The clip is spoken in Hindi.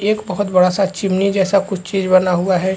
एक बहुत बड़ा -सा चिमिनी जैसा कुछ चीज बना हुआ हैं।